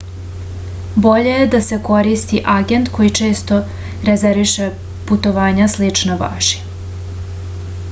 bolje je da se koristi agent koji često rezerviše putovanja slična vašima